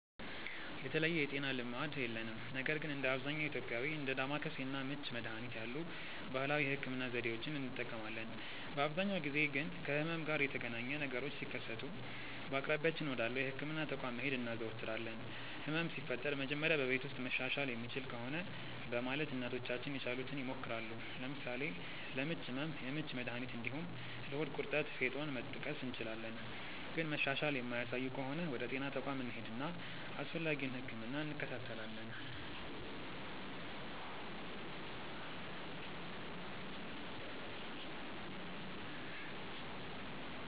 የተለየ የጤና ልማድ የለንም ነገር ግን እንደ አብዛኛው ኢትዮጵያዊ እንደ ዳማከሴ እና ምች መድሀኒት ያሉ ባህላዊ የህክምና ዘዴዎችን እንጠቀማለን። በአብዛኛው ጊዜ ግን ከህመም ጋር የተገናኘ ነገሮች ሲከሰቱ በአቅራቢያችን ወዳለው የህክምና ተቋም መሄድ እናዘወትራለን። ህመም ሲፈጠር መጀመሪያ በቤት ውስጥ መሻሻል የሚችል ከሆነ በማለት እናቶቻችን የቻሉትን ይሞክራሉ። ለምሳሌ ለምች ህመም የምች መድሀኒት እንዲሁም ለሆድ ቁርጠት ፌጦን መጥቀስ እንችላለን። ግን መሻሻል የማያሳዩ ከሆነ ወደ ጤና ተቋም እንሄድና አስፈላጊውን ህክምና እንከታተላለን።